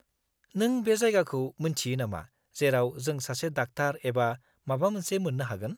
-नों बे जायगाखौ मिन्थियो नामा जेराव जों सासे डाक्टार एबा माबा मोनसे मोन्नो हागोन?